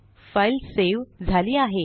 file save झाली आहे